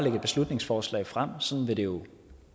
et beslutningsforslag frem sådan vil det jo